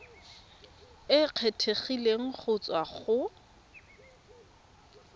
e kgethegileng go tswa go